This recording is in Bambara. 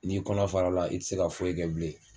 N'i kɔnɔ farala i ti se ka foyi kɛ bilen